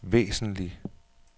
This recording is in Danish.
væsentlig